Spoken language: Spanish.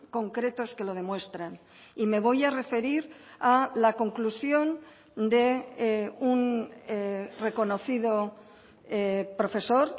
concretos que lo demuestran y me voy a referir a la conclusión de un reconocido profesor